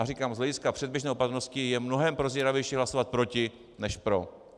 A říkám, z hlediska předběžné opatrnosti je mnohem prozíravější hlasovat proti než pro.